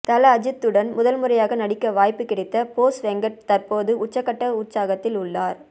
தல அஜித்துடன் முதல்முறையாக நடிக்க வாய்ப்பு கிடைத்த போஸ் வெங்கட் தற்போது உச்சகட்ட உற்சாகத்தில் உள்ளார்